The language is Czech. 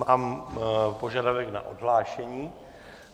Mám požadavek na odhlášení.